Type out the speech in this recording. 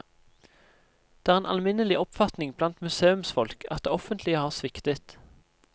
Det er en alminnelig oppfatning blant museumsfolk at det offentlige har sviktet.